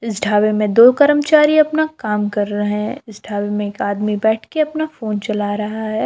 इस ढाबे में दो कर्मचारी अपना काम कर रहा इस ढाबे में एक आदमी बैठ के अपना फोन चला रहा है।